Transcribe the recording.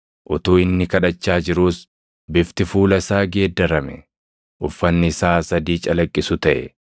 Utuu inni kadhachaa jiruus bifti fuula isaa geeddarame; uffanni isaas adii calaqqisu taʼe.